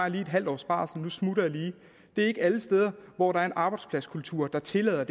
en halv års barsel nu smutter jeg lige det er ikke alle steder hvor der er en arbejdspladskultur der tillader